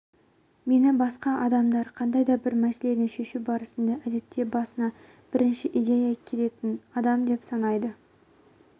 мені басқа адамдар қандай да бір мәселені шешу барысында әдетте басына бірінші идея келетін адам деп санайды